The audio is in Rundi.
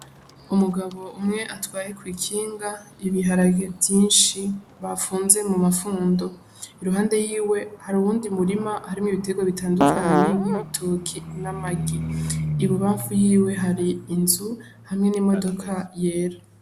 Umugabo umwe atwaye kw' ikinga ibiharage vyinshi bafunze mu mafundo iruhande yiwe hari uwundi umurima harimwo ibitegwa bitandukanye nk' ibitoke n' amagi ibubanfu yiwe hari inzu hamwe n'imodoka yera.